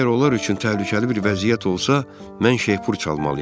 Əgər onlar üçün təhlükəli bir vəziyyət olsa, mən şeypur çalmalıyam.